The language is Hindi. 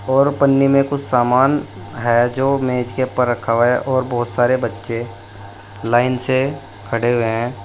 और पन्नी में कुछ सामान है जो मेज के ऊपर रखा हुआ है और बहुत सारे बच्चे लाइन से खड़े हुए हैं।